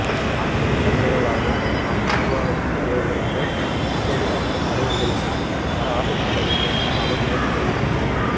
ஆன்மீகத் தலைவர்களாக அரச நிர்வாகத்தில் தலைவர்களாக சட்டத்துறை சார்ந்த தலைவர்களாகவும் வர ஆசைப்பட வேண்டும் எனவும் அவர் மேலும் தெரிவித்துள்ளார்